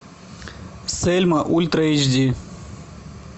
сельма ультра эйч ди